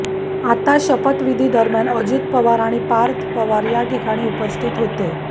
आता शपथविधीदरम्यान अजित पवार आणि पार्थ पवार या ठिकाणी उपस्थित होते